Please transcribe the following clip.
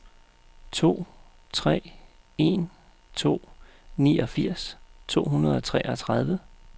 to tre en to niogfirs to hundrede og treogtredive